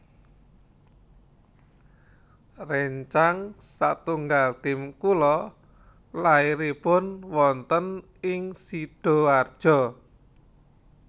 Rencang satunggal tim kula lairipun wonten ing Sidoarjo